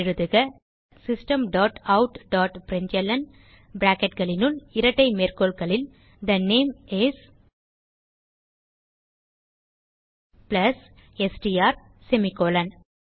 எழுதுக system dot out dot println bracketகளினுள் இரட்டை மேற்கோள்களில் the name is plus STR semicolon